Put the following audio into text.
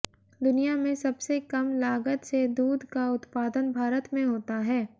दुनिया में सबसे कम लागत से दूध का उत्पादन भारत में होता है